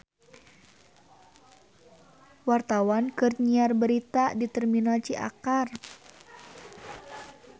Wartawan keur nyiar berita di Terminal Ciakar